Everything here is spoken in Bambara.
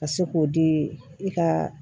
Ka se k'o di i ka